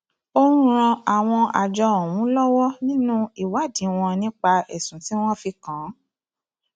ó ń ran àwọn àjọ ọhún lọwọ nínú ìwádìí wọn nípa ẹsùn tí wọn fi kàn án